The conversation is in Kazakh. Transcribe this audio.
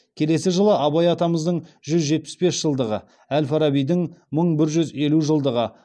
келесі жылы абай атамыздың жүз жетпіс бес жылдығы әл фарабидің мың бір жүз елу жылдығы